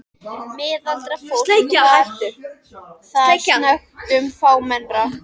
Miðaldra fólk var þar snöggtum fámennara.